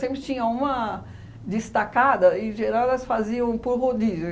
Sempre tinha uma destacada, em geral, elas faziam por rodízio.